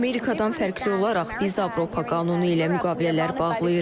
Amerikadan fərqli olaraq biz Avropa qanunu ilə müqavilələr bağlayırıq.